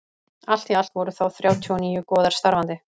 allt í allt voru þá þrjátíu og níu goðar starfandi